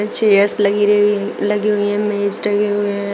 Chairs लगीरे लगी हुई हैं मेज टंगे हुए हैं।